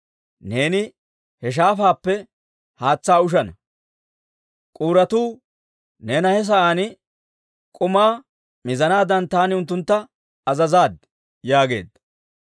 Neeni he shaafaappe haatsaa ushana; k'uuratuu neena he sa'aan k'umaa mizanaadan taani unttuntta azazaad» yaageedda.